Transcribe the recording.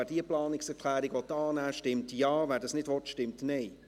Wer diese annehmen will, stimmt Ja, wer dies nicht will, stimmt Nein.